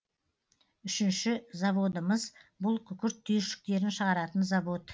үшінші заводымыз бұл күкірт түйіршіктерін шығаратын завод